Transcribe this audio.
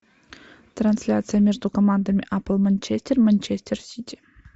трансляция между командами апл манчестер манчестер сити